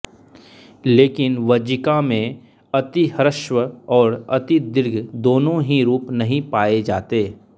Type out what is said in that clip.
लेकिन वज्जिका में अतिह्रस्व और अतिदीर्घ दोनों ही रूप नहीं पाए जाते